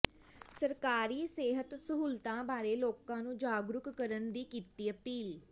ਸਰਕਾਰੀ ਸਿਹਤ ਸਹੂਲਤਾਂ ਬਾਰੇ ਲੋਕਾਂ ਨੂੰ ਜਾਗਰੂਕ ਕਰਨ ਦੀ ਕੀਤੀ ਅਪੀਲ